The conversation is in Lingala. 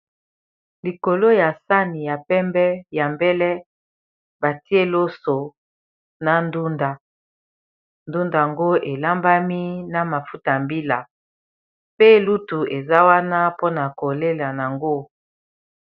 Likolo, ya sani ya pembe ya mbele, batie loso na ndunda. Ndunda ngo, elambami na mafuta ya mbila. Pe lutu, eza wana mpona kolela yango.